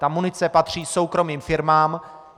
Ta munice patří soukromým firmám.